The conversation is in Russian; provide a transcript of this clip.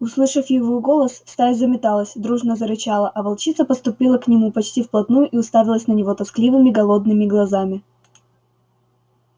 услышав его голос стая заметалась дружно зарычала а волчица подступила к нему почти вплотную и уставилась на него тоскливыми голодными глазами